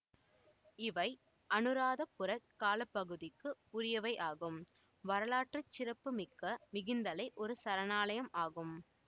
இவை அனுராதபுரக் காலப்பகுதிக்கு உரியவையாகும் வரலாற்று சிறப்பு மிக்க மிகிந்தலை ஒரு சரணாலயம் ஆகும்